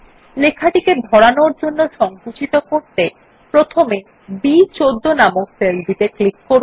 লেখাটিকে ধরানোর জন্য সঙ্কুচিত করতে প্রথমে B১৪ নামক সেলটিতে ক্লিক করুন